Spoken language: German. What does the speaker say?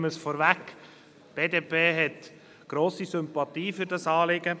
Die BDP hat grosse Sympathie für dieses Anliegen.